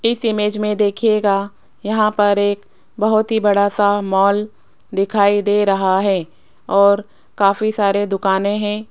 इस इमेज में देखिएगा यहां पर एक बहुत ही बड़ा सा मॉल दिखाई दे रहा है और काफी सारे दुकानें हैं।